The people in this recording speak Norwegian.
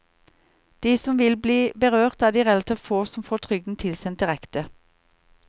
De som vil bli berørt, er de relativt få som får trygden tilsendt direkte.